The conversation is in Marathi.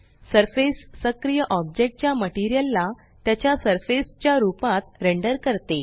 सरफेस सक्रिय ओब्जेकटच्या मटेरियल ला त्याच्या सर्फेस च्या रूपात रेंडर करते